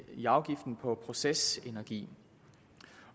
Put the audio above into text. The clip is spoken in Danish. i afgiften på procesenergi